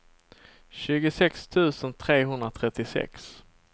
tjugosex tusen trehundratrettiosex